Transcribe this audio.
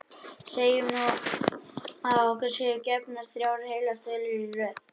Segjum nú að okkur séu gefnar þrjár heilar tölur í röð.